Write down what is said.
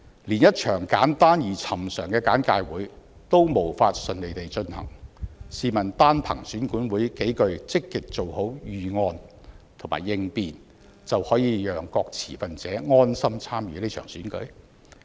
連一場簡單而尋常的簡介會也無法順利地進行，試問單憑選管會數句積極做好預案和應變，就可以讓各持份者安心參與這場選舉嗎？